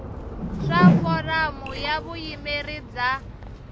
swa foramu ya vuyimeri bya